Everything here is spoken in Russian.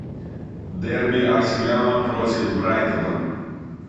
дерби арсенала против брайтона